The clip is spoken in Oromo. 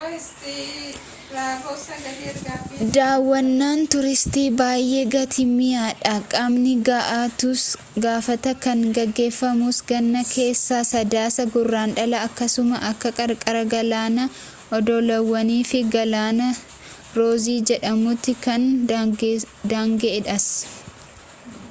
daawwannaan tuuristii baayee gatiin mi'aa dha qaamni ga'aa ta'uus gaafata kan geggeeffamus ganna keessa sadaasaa-guraandhala akkasuma bakka qarqara galaanaa oddolawwan fi galaana roozii jedhamutti kan daanga'eedhas